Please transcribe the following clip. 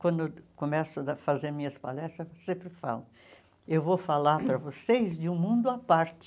Quando começo a dar fazer minhas palestras, eu sempre falo, eu vou falar para vocês de um mundo à parte.